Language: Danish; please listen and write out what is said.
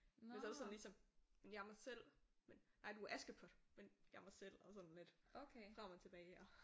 Men så det sådan ligesom men jeg er mig selv. Nej du er Askepot. Men jeg er mig selv og sådan lidt frem og tilbage og